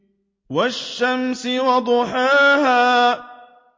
وَالشَّمْسِ وَضُحَاهَا